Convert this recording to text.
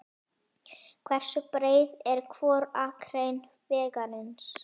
Hversu breið er hvor akrein vegarins?